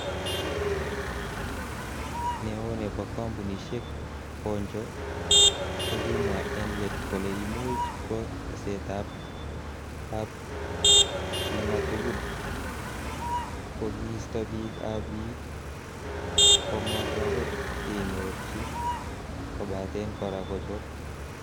Neo nebo kompunisiek, Honjo kokimwa en let kole imuch ko tesetab ab nematugul, kokisto bik ab bii komotoret kenyorchi kobaten kora kochob.